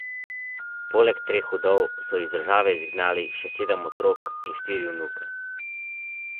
Sestanek Džombića in Dodika, sicer strankarskih kolegov, naj bi bil po navedbah medijev precej napet.